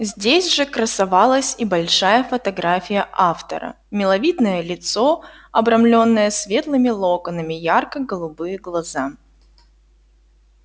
здесь же красовалась и большая фотография автора миловидное лицо обрамленное светлыми локонами ярко-голубые глаза